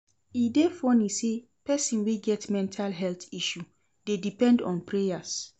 E dey funny sey pesin wey get mental health issue dey depend on prayers.